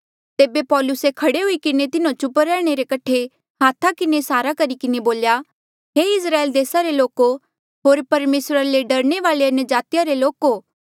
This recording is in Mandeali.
तेबे पौलुसे खड़े हुई किन्हें तिन्हो चुप रैहणे कठे हाथा किन्हें इसारा करी किन्हें बोल्या हे इस्राएल देसा रे लोको होर परमेसरा ले डरने वाले अन्यजाति रे लोको सुणा